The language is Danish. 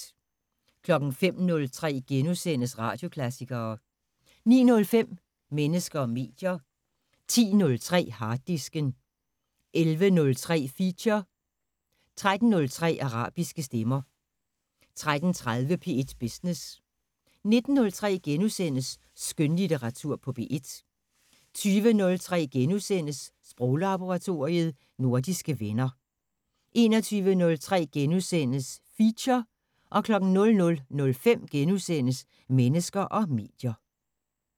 05:03: Radioklassikere * 09:05: Mennesker og medier 10:03: Harddisken 11:03: Feature 13:03: Arabiske stemmer 13:30: P1 Business 19:03: Skønlitteratur på P1 * 20:03: Sproglaboratoriet: Nordiske venner * 21:03: Feature * 00:05: Mennesker og medier *